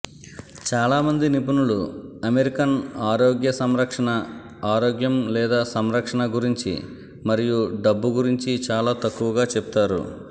చాలామంది నిపుణులు అమెరికన్ ఆరోగ్య సంరక్షణ ఆరోగ్యం లేదా సంరక్షణ గురించి మరియు డబ్బు గురించి చాలా తక్కువగా చెప్తారు